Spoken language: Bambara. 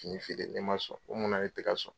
Fini feere ne man sɔn ko mun na ne tɛ ka sɔn